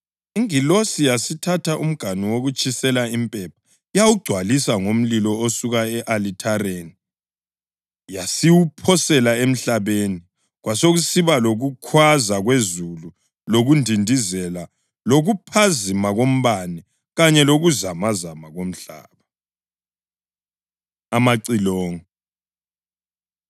Ingilosi yasithatha umganu wokutshisela impepha yawugcwalisa ngomlilo osuka e-alithareni yasiwuphosela emhlabeni kwasekusiba lokukhwaza kwezulu lokundindizela lokuphazima kombane kanye lokuzamazama komhlaba. Amacilongo